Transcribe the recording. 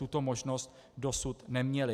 Tuto možnost dosud neměly.